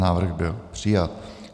Návrh byl přijat.